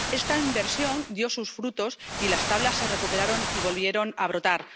Esta inversión dio sus frutos y las Tablas se recuperaron y volvieron a brotar.